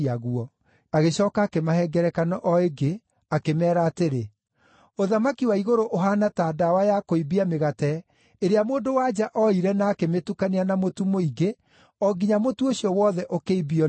Agĩcooka akĩmahe ngerekano o ĩngĩ, akĩmeera atĩrĩ: “Ũthamaki wa igũrũ ũhaana ta ndawa ya kũimbia mĩgate ĩrĩa mũndũ-wa-nja oire na akĩmĩtukania na mũtu mũingĩ o nginya mũtu ũcio wothe ũkĩimbio nĩyo.”